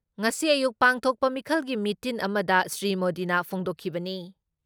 ꯉꯁꯤ ꯑꯌꯨꯛ ꯄꯥꯡꯊꯣꯛꯄ ꯃꯤꯈꯜꯒꯤ ꯃꯤꯇꯤꯟ ꯑꯃꯗ ꯁ꯭ꯔꯤ ꯃꯣꯗꯤꯅ ꯐꯣꯡꯗꯣꯛꯈꯤꯕꯅꯤ ꯫